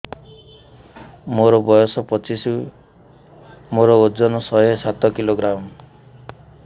ମୋର ବୟସ ପଚିଶି ମୋର ଓଜନ ଶହେ ସାତ କିଲୋଗ୍ରାମ